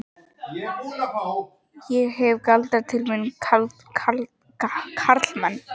Ég hef galdrað til mín karlmenn.